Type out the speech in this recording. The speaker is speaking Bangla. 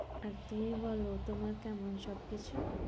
আর তুমি বলো, তোমার কেমন সব কিছু?